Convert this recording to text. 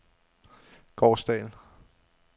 Gårsdal